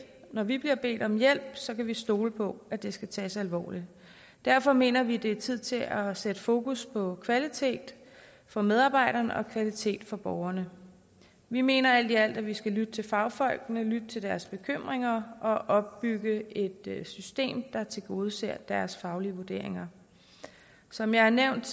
når vi bliver bedt om hjælp så kan vi stole på at det skal tages alvorligt derfor mener vi at det er tid til at sætte fokus på kvalitet for medarbejderne og kvalitet for borgerne vi mener alt i alt at vi skal lytte til fagfolkene og lytte til deres bekymringer og opbygge et system der tilgodeser deres faglige vurderinger som jeg har nævnt